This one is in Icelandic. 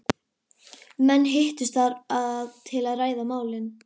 Menn hittust þar til að ræða málin.